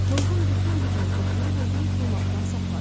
Mulğun bütün gücünü toplayıb özünü yıxılmaqdan saxladı.